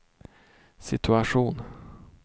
situation